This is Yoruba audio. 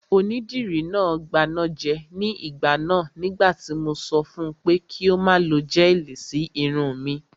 Onídìrí náà gbanájẹ ní ìgbà náà nígbà tí mo sọ fun pé kí ó má lo gẹ́ẹ̀lì sí irun mi